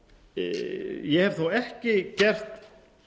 ég hef þó ekki gert